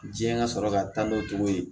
Diɲɛ ka sɔrɔ ka taa n'o tugu ye